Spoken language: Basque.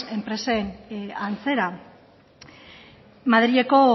enpresen antzera madrileko